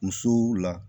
Musow la